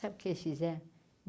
Sabe o que eles fizeram?